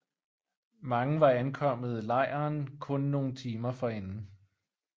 Mange var ankommet lejren kun nogle timer forinden